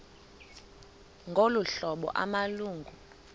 ngolu hlobo amalungu